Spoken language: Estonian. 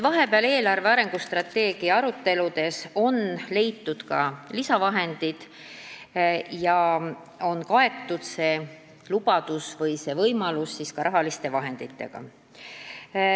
Vahepeal on eelarvestrateegia aruteludes leitud ka lisavahendeid ja see lubadus või võimalus on kaetud rahaliste vahenditega.